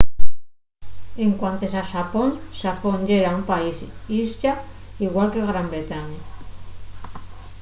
en cuantes a xapón xapón yera un país-islla igual que gran bretaña